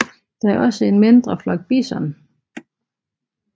Der er også en mindre flok bison